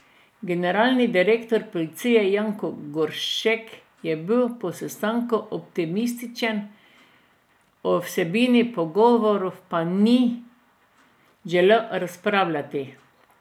Generalni direktor policije Janko Goršek je bil po sestanku optimističen, o vsebini pogovorov pa ni želel razpravljati.